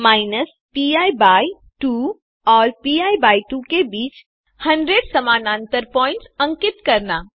minus P by 2 और P by 2 के बीच 100 समानांतर पॉइंट्स अंकित करना